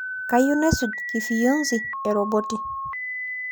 kayieu naisuj kifyonzi ee roboti